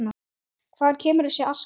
Hvaðan kemur þessi aska?